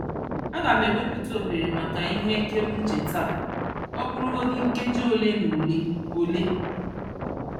Aga m ewepụta ohere maka ihe ekereuche taa, ọ bụrụgodu nkeji ole na ole. ole.